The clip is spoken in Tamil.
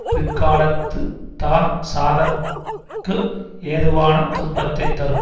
பிற்காலத்துத் தான் சாதற்கு ஏதுவான துன்பத்தை தரும்